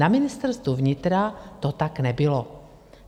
Na Ministerstvu vnitra to tak nebylo.